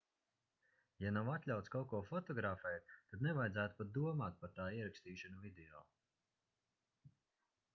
ja nav atļauts kaut ko fotografēt tad nevajadzētu pat domāt par tā ierakstīšanu video